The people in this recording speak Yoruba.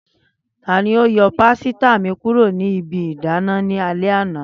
Tani o yọ pasita mi kuro ni ibi idana ni alẹ ana?